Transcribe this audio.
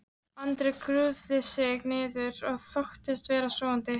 Andri grúfði sig niður og þóttist vera sofandi.